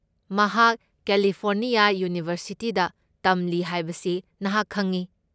ꯃꯍꯥꯛ ꯀꯦꯂꯤꯐꯣꯔꯅꯤꯌꯥ ꯌꯨꯅꯤꯚꯔꯁꯤꯇꯤꯗ ꯇꯝꯂꯤ ꯍꯥꯏꯕꯁꯤ ꯅꯍꯥꯛ ꯈꯪꯢ꯫